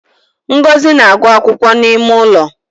Ngozi na agụ akwụkwọ n’ime ụlọ